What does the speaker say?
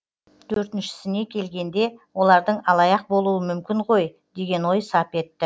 төртіншісіне келгенде олардың алаяқ болуы мүмкін ғой деген ой сап етті